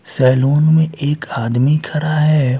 Salon में एक आदमी खड़ा हैं।